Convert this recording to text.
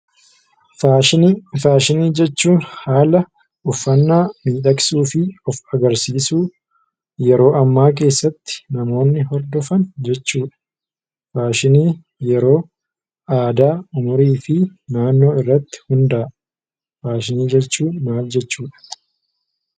Faashinii jechuun haala uffannaa miidhagsuu fi of agarsiisuu yeroo ammaa keessatti namoonni horfofan jechuudha. Faashinii yeroo, aadaa, umrii fi naannoo irratti hundaa'a. Faashinii jechuun maal jechuudha?